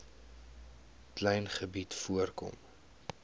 klein gebied voorkom